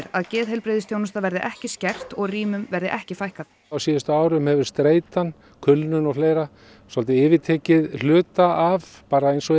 að geðheilbrigðisþjónusta verði ekki skert og rýmum verði ekki fækkað á síðustu árum hefur streitan kulnun og fleira svolítið yfirtekið hluta af bara eins og